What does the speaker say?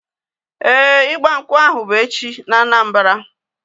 Ee, ịgba nkwụ ahu bu echi na Anambra